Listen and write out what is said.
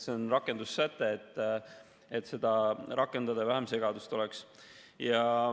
See on rakendussäte, et seadust rakendada ja vähem segadust oleks.